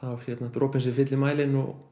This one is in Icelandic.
dropinn sem fylli mælinn og